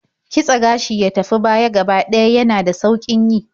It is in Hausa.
Kitse gashi ya tafi baya gaba ɗaya yana da sauƙin yi.